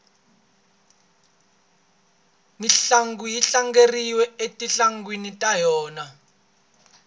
mintlangu yi tlangeriwa etindhawini ta yona